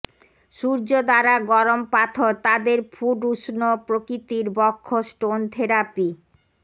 সূর্য দ্বারা গরম পাথর তাদের ফুট উষ্ণ প্রকৃতির বক্ষ স্টোন থেরাপি